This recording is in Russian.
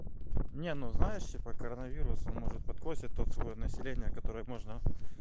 не ну знаешь типа коронавирус он может подкосит тот слой населения который можно